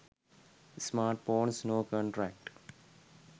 smartphones no contract